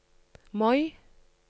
Moi